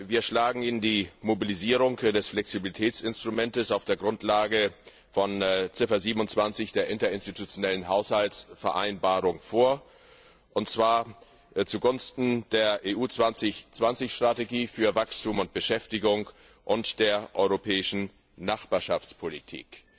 Wir schlagen Ihnen die Mobilisierung des Flexibilitätsinstruments auf der Grundlage von Ziffer 27 der interinstitutionellen Haushaltsvereinbarung vor, und zwar zugunsten der EU 2020 Strategie für Wachstum und Beschäftigung und der europäischen Nachbarschaftspolitik.